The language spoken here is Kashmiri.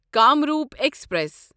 کامروپ ایکسپریس